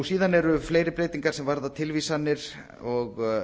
síðan eru fleiri breytingar sem varða tilvísanir og